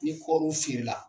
Ni kɔriw feere la